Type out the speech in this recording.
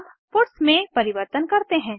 अब पट्स में परिवर्तन करते हैं